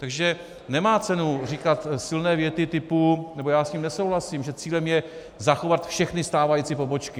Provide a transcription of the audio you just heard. Takže nemá cenu říkat silné věty typu - nebo já s tím nesouhlasím, že cílem je zachovat všechny stávající pobočky.